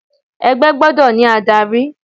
Ẹgbẹ́ gbọ́dọ̀ ní adárí.